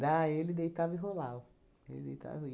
Daí ele deitava e rolava. Ele deitava